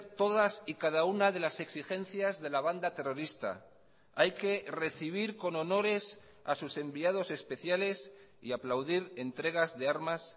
todas y cada una de las exigencias de la banda terrorista hay que recibir con honores a sus enviados especiales y aplaudir entregas de armas